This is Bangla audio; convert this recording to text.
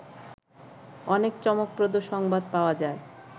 অনেক চমকপ্রদ সংবাদ পাওয়া যায়